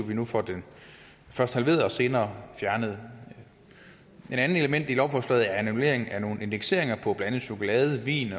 vi nu får den først halveret og senere fjernet et andet element i lovforslaget er en annullering af nogle indekseringer på blandt andet chokolade vin